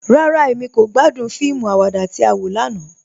Rárá, Emí kò gbàdún fíìmù àwàdà tí á wọ lànà.